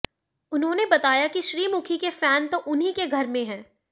उन्होंने बताया कि श्रीमुखी के फैन तो उन्हीं के घर में है